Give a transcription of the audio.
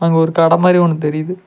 அங்க ஒரு கட மாரி ஒன்னு தெரியிது.